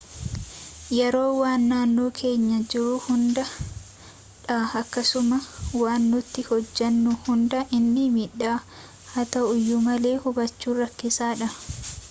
yeroon waan naannoo keenya jiruu hunda dha akkasuma waan nuti hojaannu hunda nii miidha haa ta'uyyu malee hubbachuf rakkisadhaa